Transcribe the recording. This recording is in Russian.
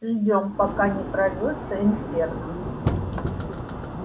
ждём пока не прорвётся инферно